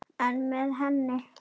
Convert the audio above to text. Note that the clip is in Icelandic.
Einn með henni.